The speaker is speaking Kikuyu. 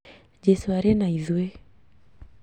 Jesũ arĩna ĩthuĩ